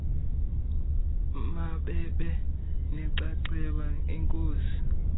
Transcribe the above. mababe nenxaxheba enkosi